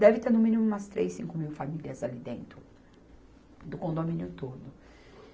Deve ter no mínimo umas três, cinco mil famílias ali dentro, do condomínio todo.